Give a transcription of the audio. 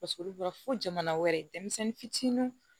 Paseke olu bɔra fo jamana wɛrɛ denmisɛnnin fitininw